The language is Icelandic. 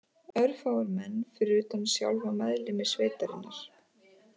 Örfáir menn fyrir utan sjálfa meðlimi sveitarinnar